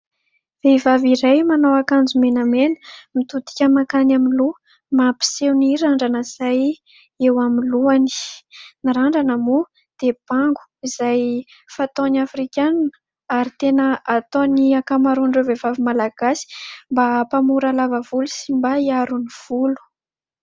Vehivavy iray manao akanjo mena mena, mitodika mankany aloha mampiseho ny randrana izay eo amin'ny lohany. Ny randrana moa dia bango izay fanaony afrikanina ary tena ataon'ny ankamaroan'ireo vehivavy Malagasy mba hampamora lava volo sy mba hiaro ny volo.